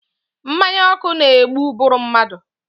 Mmanya ọkụ na-egbu ụbụrụ mmadụ.